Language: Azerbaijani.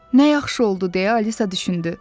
Nə yaxşı oldu deyə Alisa düşündü.